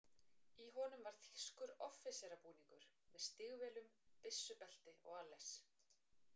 Í honum var þýskur offíserabúningur, með stígvélum, byssubelti og alles.